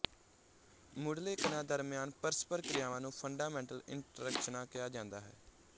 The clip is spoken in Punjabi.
ਮੁਢਲੇ ਕਣਾਂ ਦਰਮਿਆਨ ਪਰਸਪਰ ਕ੍ਰਿਆਵਾਂ ਨੂੰ ਫੰਡਾਮੈਂਟਲ ਇੰਟ੍ਰੈਕਸ਼ਨਾਂ ਕਿਹਾ ਜਾਂਦਾ ਹੈ